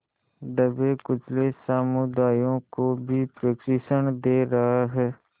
दबेकुचले समुदायों को भी प्रशिक्षण दे रहा है